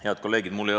Head kolleegid!